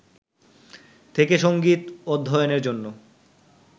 থেকে সঙ্গীত অধ্যয়নের জন্য